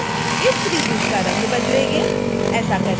फिर हम इस त्रिभुज का रंग बदलेंगे